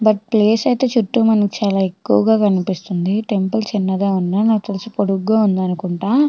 But place ఐతే చుట్టూ మనకి చాల ఎక్కువగా కనిపిస్తుంది టెంపుల్ చిన్నగా ఉన్న నాకు తెలిసి పొడ్డుగా ఉంది అనుకుంట.